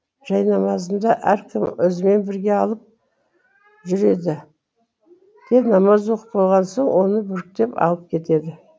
жайнамазымды әркім өзімен бірге алып жүреді де намаз оқып болған соң оны бүктеп алып кетеді